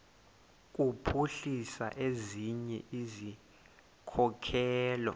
kuphuhlisa ezinye izikhokelo